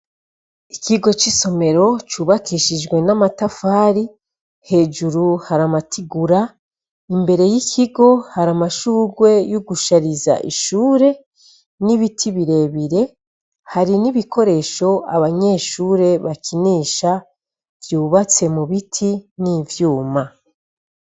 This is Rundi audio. Ikigo cisomero cubakishijwe amatafari ,hejuru hari amatigura mbere yikigo hari amashurwe gushariza ishure nibiti birebire hari nibikoresho abanyeshure bakinisha vyubatse mubiti nivyuma.